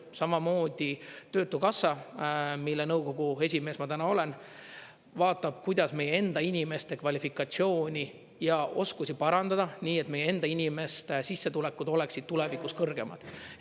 Samamoodi Töötukassa, mille nõukogu esimees ma täna olen, vaatab, kuidas meie enda inimeste kvalifikatsiooni ja oskusi parandada, nii et meie enda inimeste sissetulekud oleksid tulevikus kõrgemad.